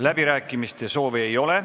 Läbirääkimiste soovi ei ole.